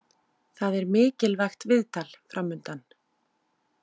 Það er mikilvægt viðtal framundan.